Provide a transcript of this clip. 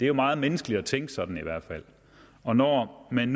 jo meget menneskeligt at tænke sådan i hvert fald og når man